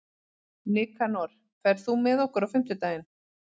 Nikanor, ferð þú með okkur á fimmtudaginn?